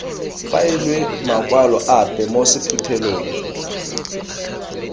faelwe makwalo ape mo sephuthelong